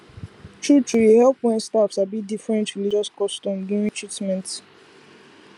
truetrue e help wen staff sabi different religious customs during treatment